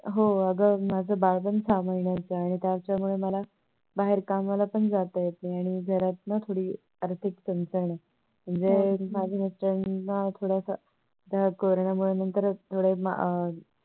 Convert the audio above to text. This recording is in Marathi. हो अग माझं बाळ पण सहा महिन्याचं आहे त्याच्यामुळे मला बाहेर कामाला पण जातात येत नाही घरात थोडी आर्थिक चणचण आहे म्हणजे माझे Mister याना थोडासा Corona नंतर थोडं अह